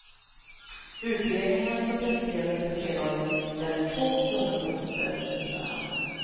Utredningen som presenterades på fredagen ställer två tunga poster mot varandra.